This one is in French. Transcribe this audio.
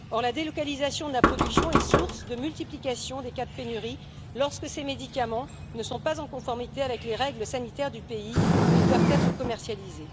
Or, la délocalisation de la production est source de multiplication des cas de pénurie lorsque ces médicaments ne sont pas en conformité avec les règles sanitaires du pays où ils doivent être commercialisés.